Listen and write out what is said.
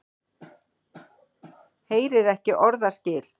Heyrir ekki orðaskil.